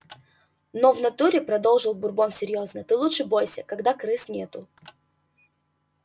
но в натуре продолжил бурбон серьёзно ты лучше бойся когда крыс нету